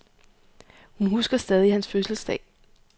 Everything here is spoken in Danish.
Hun husker stadig hans fødselsdag.